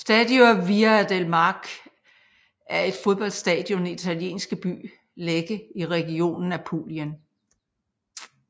Stadio Via del Mare er et fodboldstadion i den italienske by Lecce i regionen Apulien